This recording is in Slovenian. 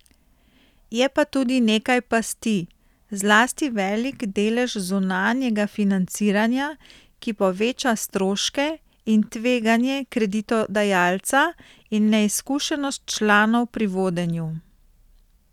Je pa tudi nekaj pasti, zlasti velik delež zunanjega financiranja, ki poveča stroške in tveganje kreditodajalca, in neizkušenost članov pri vodenju.